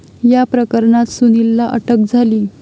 या प्रकरणात सुनीलला अटक झाली.